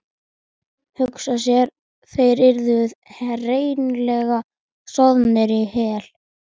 Hugsa sér, þeir yrðu hreinlega soðnir í hel.